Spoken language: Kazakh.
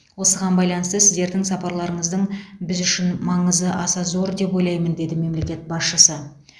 осыған байланысты сіздердің сапарларыңыздың біз үшін маңызы аса зор деп ойлаймын деді мемлекет басшысы